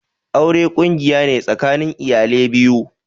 Aure ƙungiya ne tsakanin iyale biyu.